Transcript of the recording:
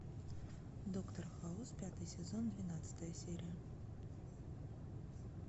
доктор хаус пятый сезон двенадцатая серия